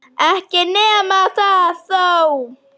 Ekki nema það þó!